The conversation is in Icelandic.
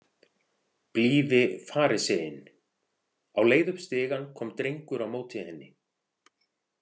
Blíði fariseinn Á leið upp stigann kom drengur á móti henni.